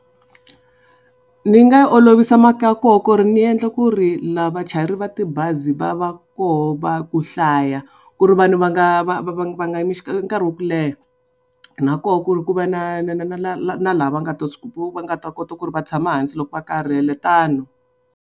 Ni nga yi olovisa maka ya koho ku ri ni endla ku ri laha vachayeri va tibazi va va koho va ku hlaya ku ri vanhu va nga va va va nga yimi nkarhi wa ku leha na koho ku ri ku va na na na na na na na lava nga ta va nga ta kota ku ri va tshama hansi loko va karhele tano.